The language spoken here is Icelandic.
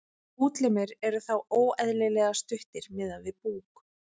útlimir eru þá óeðlilega stuttir miðað við búk